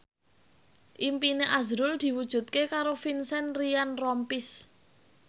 impine azrul diwujudke karo Vincent Ryan Rompies